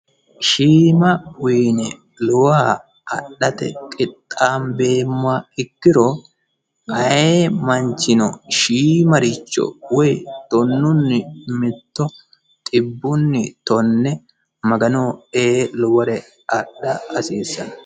shiima uyine lowoha adhate qixxaambeemoha ikkiro aye manchino shiimaricho woy tonunni mitto xibbuni tonne magano ee lowore adha hasiissanno